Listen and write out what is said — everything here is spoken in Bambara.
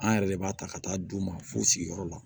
An yɛrɛ de b'a ta ka taa d'u ma f'u sigiyɔrɔ la